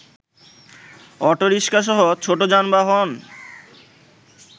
অটোরিকশাসহ ছোট যানবাহন্